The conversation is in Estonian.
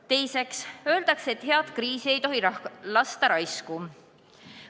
Teiseks, öeldakse, et head kriisi ei tohi lasta raisku.